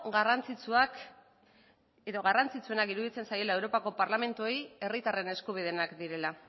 garrantzitsuenak iruditzen zaiela europako parlamentuei herritarren eskubideenak direla